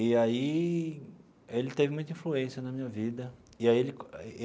E aí, ele teve muita influência na minha vida e aí ele.